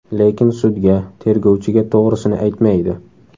Lekin sudga, tergovchiga to‘g‘risini aytmaydi.